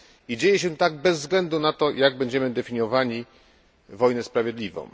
Dzieje się tak bez względu na to, jak będziemy definiowali wojnę sprawiedliwą.